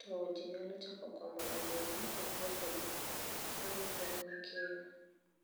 to jii nyalo chako komo oduma e puothegi mar ikrwuok ne kiny.